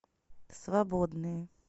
свободные